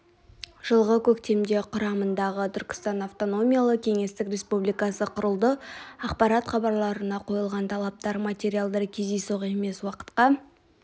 жылғы көмекте құрамындағы түркістан автономиялы кеңестік республикасы құрылды ақпарат хабарларына қойылған талаптар материалдар кездейсоқ емес уақытқа